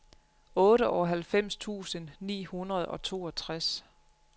otteoghalvfems tusind ni hundrede og toogtres